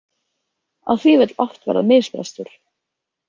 Á því vill oft verða misbrestur.